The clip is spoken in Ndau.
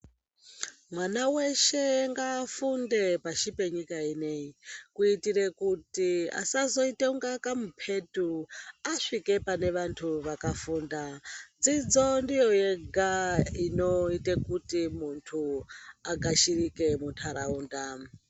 Mwana weshe ngaafunde pashi penyika ineyi. Kuitire kuti asazoite kunge kamuphetu asvike pane vantu vakafunda. Dzidzo ndiyo yega inoite kuti muntu agashirike muntaraunda.